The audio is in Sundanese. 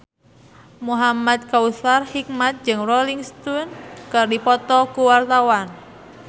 Muhamad Kautsar Hikmat jeung Rolling Stone keur dipoto ku wartawan